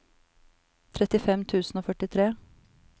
trettifem tusen og førtitre